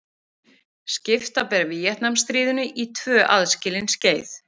Skipta ber Víetnamstríðinu í tvö aðskilin skeið.